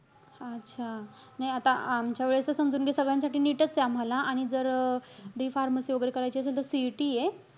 अच्छा, नाही आता आमच्यावेळेस त समजून घे सगळ्यांसाठी NEET चे आहे आम्हाला. आणि जर D pharmacy वगैरे करायची असेल, तर CET ए.